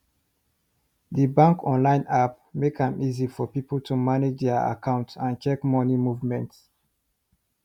the bank online app make am easy for people to manage their account and check money movement